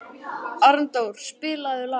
Arndór, spilaðu lag.